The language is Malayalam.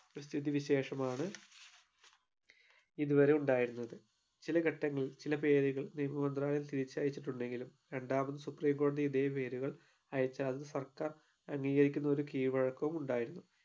സ്ഥിതി വിശേഷമാണ് ഇത് വരെ ഉണ്ടായിരുന്നത് ചില ഘട്ടങ്ങളിൽ ചില പേരുകൾ നിയമ മന്ത്രാലയം തിരിച്ചയച്ചിട്ടുണ്ടെങ്കിലും രണ്ടാമത് supreme കോടതി ഇതേ പേരുകൾ അയച്ചാൽ അത് സർക്കാർ അംഗീകരിക്കുന്ന ഒരു കീഴ്വഴക്കോം ഉണ്ടായിരുന്നു